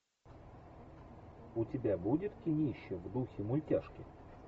у тебя будет кинище в духе мультяшки